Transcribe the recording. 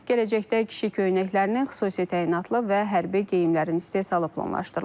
Gələcəkdə kişi köynəklərinin xüsusi təyinatlı və hərbi geyimlərin istehsalı planlaşdırılır.